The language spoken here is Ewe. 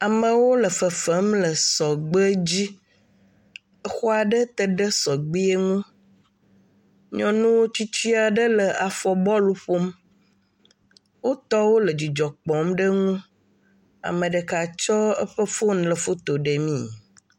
Amewo le fefem le sɔgbe dzi, exɔa ɖe te ɖe sɔgbeɛ ŋu, nyɔnu tsitsia ɖe le afɔ bɔlu ƒom, o tɔwo le dzidzɔ kpɔm ɖe ŋu, ameɖeka tsɔ eƒe foni le foto ɖe mi.